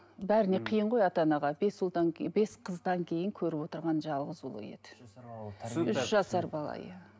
бәріне қиын ғой ата анаға бес ұлдан кейін бес қыздан кейін көріп отырған жалғыз ұлы еді үш жасар бала иә